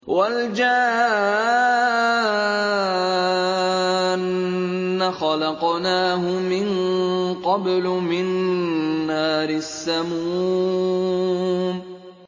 وَالْجَانَّ خَلَقْنَاهُ مِن قَبْلُ مِن نَّارِ السَّمُومِ